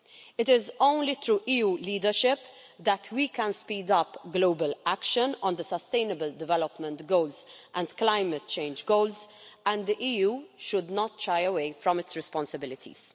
It is only through EU leadership that we can speed up global action on the Sustainable Development Goals and climate change goals and the EU should not shy away from its responsibilities.